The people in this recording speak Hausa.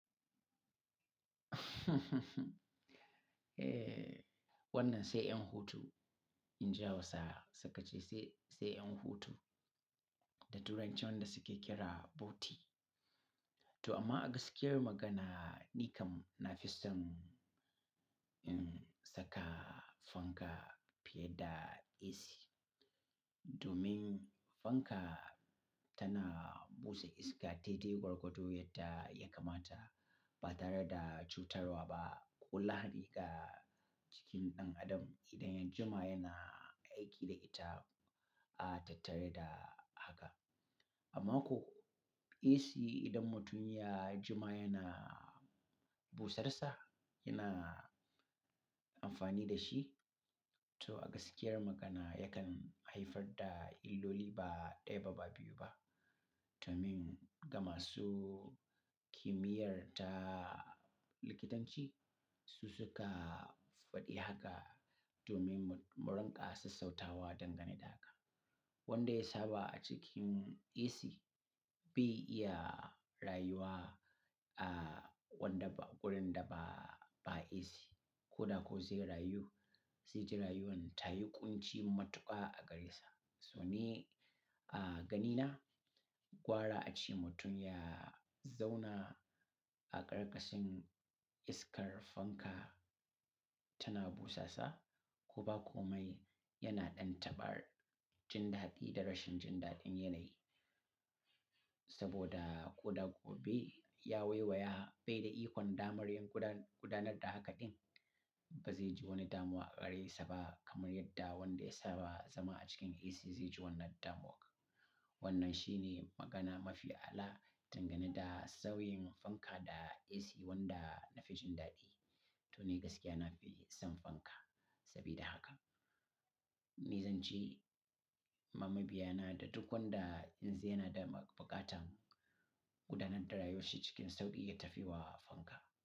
Eh, wannan sai yan hutu in ji Hausawa sukace sai yan hutu da turanci wa'inda da suke kira "boti". To amma a gaskiyar magana, ni kam na fi son, saka fanka fiye da AC. Domin fanka tana busa iska daidai gwargwadon yadda ya kamata ba tare da cutarwa ba ko lahadi ga jikin ɗan adam idan ya jima yana aiki da ita, a tattare da haka. Amma ko AC idan mutum ya jima yana busarsa, yana amfani da shi, to a gaskiyar magana yakan haifar da illoli ba ɗaya ba, ba biyu ba. Domin gama su kimiyyar ta likitanci, su suka faɗi haka domin mu, mu rinƙa sassauta wa dangane da haka. Wanda ya saba a cikin AC bai iya rayuwa a wanda ba, wurin da ba, ba AC ko da ko zai rayu, zai ji rayuwan tayi ƙunci matuƙa a gare sa. So ne a ganina gwara ace mutum ya zauna a ƙarƙashin iskar fanka tana busasa ko ba komai yana ɗan taba jin daɗi da rashin jin daɗin yanayi. Saboda ko da gobe ya waiwaya bai da ikon damar yin gudanar da haka din, ba zai ji wani damuwa a gare sa ba kamar yadda wanda ya saba zama a cikin AC zai ji wannan damuwa. Wannan shi ne magana mafi a'ala dangane da sauyin fanka da AC wanda na fi jin daɗi. To ni gaskiya na fi son fanka sabida haka. Nizance, ma mabiya na da duk wanda in zai yana da buƙatan gudanar da rayuwar shi cikin sauƙi ya tafi wa fanka.